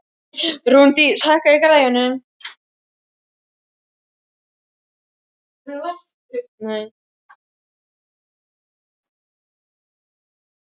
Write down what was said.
Rúndís, hækkaðu í græjunum.